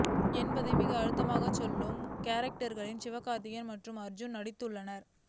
என்பதை மிக அழுத்தமாக சொல்லும் கேரக்டர்களில் சிவகார்த்திகேயன் மற்றும் அர்ஜூன் நடித்து உள்ளனர்